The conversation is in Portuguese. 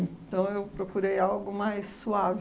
Então, procurei algo mais suave.